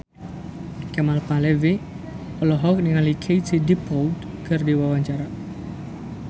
Kemal Palevi olohok ningali Katie Dippold keur diwawancara